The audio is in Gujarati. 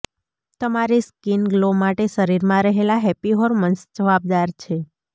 તમારી સ્કિના ગ્લો માટે શરીરમાં રહેલા હેપ્પી હોર્મોન્સ જવાબદાર છે